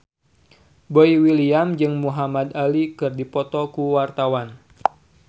Boy William jeung Muhamad Ali keur dipoto ku wartawan